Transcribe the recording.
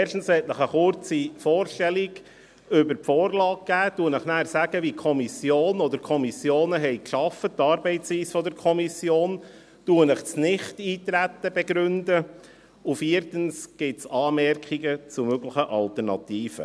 Erstens möchte ich Ihnen eine kurze Vorstellung der Vorlage geben, sage Ihnen danach, wie die Kommissionen gearbeitet haben, die Arbeitsweise der Kommission, begründe Ihnen das Nichteintreten, und viertens gibt es Anmerkungen zu möglichen Alternativen.